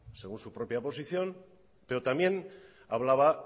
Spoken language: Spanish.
según su propia posición pero también hablaba